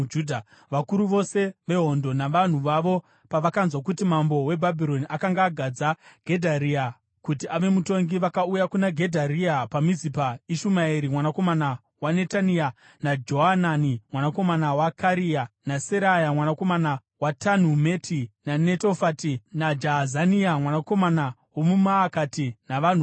Vakuru vose vehondo navanhu vavo pavakanzwa kuti mambo weBhabhironi akanga agadza Gedharia kuti ave mutongi, vakauya kuna Gedharia paMizipa, Ishumaeri mwanakomana waNetania, naJohanani mwanakomana waKarea, naSeraya mwanakomana waTanhumeti muNetofati, naJaazania mwanakomana womuMaakati, navanhu vavo.